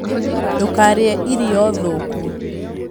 Ndũkarĩe irio thũku